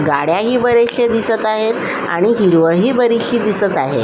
गाड्याही बऱ्याचशा दिसत आहेत आणि हिरवळही बरीचशी दिसत आहे.